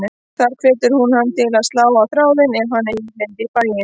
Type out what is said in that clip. Þar hvetur hún hann til að slá á þráðinn ef hann eigi leið í bæinn.